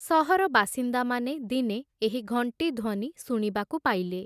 ସହର ବାସିନ୍ଦାମାନେ ଦିନେ ଏହି ଘଂଟି ଧ୍ୱନି ଶୁଣିବାକୁ ପାଇଲେ ।